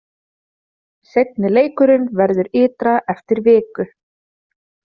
Seinni leikurinn verður ytra eftir viku.